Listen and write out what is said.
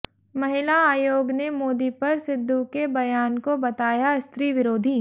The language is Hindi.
महिला आयोग ने मोदी पर सिद्धू के बयान को बताया स्त्री विरोधी